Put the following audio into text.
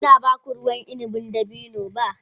Ba ina ba ku ruwan inabin dabino ba.